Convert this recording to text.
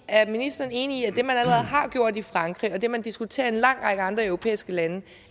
er ministeren enig i at det man allerede har gjort i frankrig og det man diskuterer i en lang række andre europæiske lande